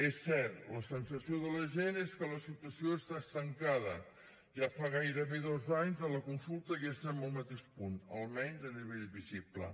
és cert la sensació de la gent és que la situació està estancada ja fa gairebé dos anys de la consulta i estem al mateix punt almenys a nivell visible